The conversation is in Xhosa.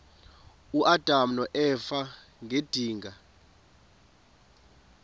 uadam noeva ngedinga